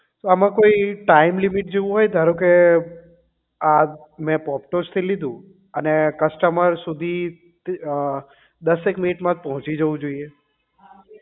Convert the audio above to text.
આમાં કોઈ time limit જેવું હોય ધારો કે આ મેં પોપટસ થી લીધું અને customer સુધી અ દસ એક મિનિટ માં જ પહોંચી જવું જોઇએ